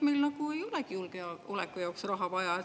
Meil ei nagu olegi julgeoleku jaoks raha vaja.